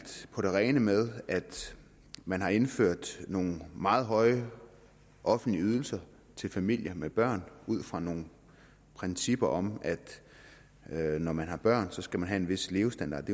på det rene med at man har indført nogle meget høje offentlige ydelser til familier med børn ud fra nogle principper om at man når man har børn skal have en vis levestandard